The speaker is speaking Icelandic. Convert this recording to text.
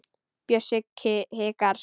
Bjössi hikar.